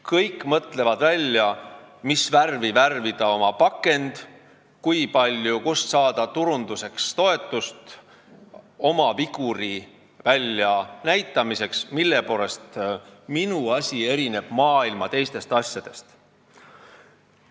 Kõik mõtlevad välja, mis värvi oma pakend värvida, kui palju ja kust saada toetust turunduseks, oma viguri väljanäitamiseks, et mille poolest erineb minu asi maailma teistest asjadest.